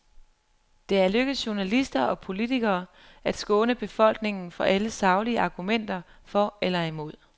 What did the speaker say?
Det er lykkedes journalister og politikere at skåne befolkningen for alle saglige argumenter for eller imod.